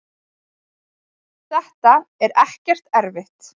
þetta er ekkert erfitt.